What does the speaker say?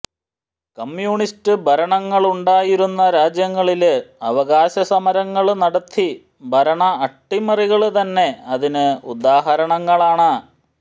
communist ഭരണങ്ങ ളുണ്ടായിരുന്ന രാജ്യങ്ങളില് അവകാശ സമരങ്ങള് നടത്തി ഭരണ അട്ടിമറികള് തന്നെ അതിന് ഉദാഹരണങ്ങളാണ്